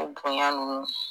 O bonya ninnu.